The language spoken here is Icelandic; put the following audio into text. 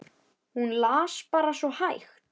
Hún las bara svo hægt.